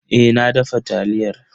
Eh na dafa taliyar.